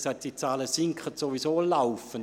Auch das hat die Regierung gesagt.